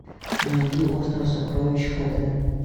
найди остров сокровищ х д